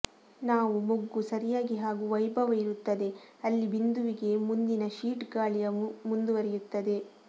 ನಾವು ಮೊಗ್ಗು ಸರಿಯಾಗಿ ಹಾಗೂ ವೈಭವ ಇರುತ್ತದೆ ಅಲ್ಲಿ ಬಿಂದುವಿಗೆ ಮುಂದಿನ ಶೀಟ್ ಗಾಳಿಯ ಮುಂದುವರಿಯುತ್ತದೆ